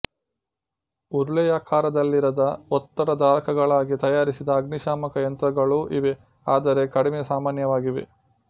ಉರುಳೆಯಾಕಾರದಲ್ಲಿರದ ಒತ್ತಡ ಧಾರಕಗಳಾಗಿ ತಯಾರಿಸಿದ ಅಗ್ನಿಶಾಮಕ ಯಂತ್ರಗಳೂ ಇವೆ ಆದರೆ ಕಡಿಮೆ ಸಾಮಾನ್ಯವಾಗಿವೆ